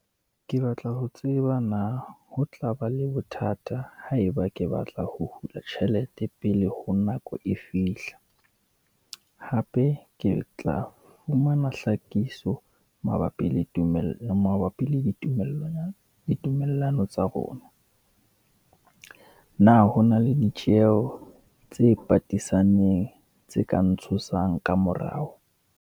Ke batla ho tseba na, ho tlaba le bothata ha e ba ke batla ho hula tjhelete pele ho nako e fihla? Hape ke tla fumana hlakiso mabapi le tumello, mabapi le ditumellano. Ditumellano tsa rona, na hona le ditjeho tse patisaneng, tse ka ntshosang ka morao?